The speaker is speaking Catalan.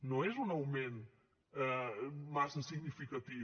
no és un augment massa significatiu